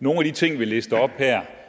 nogle af de ting som vi lister op her